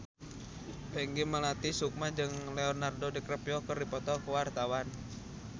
Peggy Melati Sukma jeung Leonardo DiCaprio keur dipoto ku wartawan